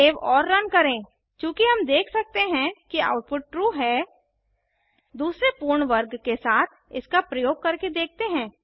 save और run करेंचूँकि हम देख सकते हैं कि आउटपुट ट्रू है दूसरे पूर्ण वर्ग के साथ इसका प्रयोग करके देखते हैं